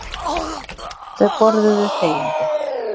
Þau borðuðu þegjandi.